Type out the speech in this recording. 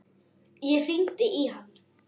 Ég hringdi í hann.